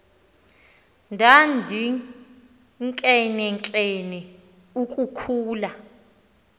ndandinkenenkene uku khula